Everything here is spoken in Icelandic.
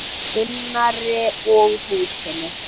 Gunnari og húsinu.